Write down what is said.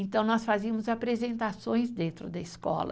Então, nós fazíamos apresentações dentro da escola.